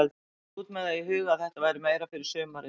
Ég fór út með það í huga að þetta væri meira fyrir sumarið.